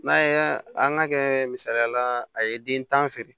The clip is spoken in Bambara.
N'a ye an ka kɛ misaliyala a ye den tan ni feere